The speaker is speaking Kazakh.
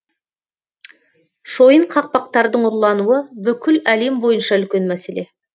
шойын қақпақтардың ұрлануы бүкіл әлем бойынша үлкен мәселе